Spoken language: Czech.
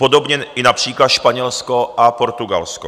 Podobně i například Španělsko a Portugalsko.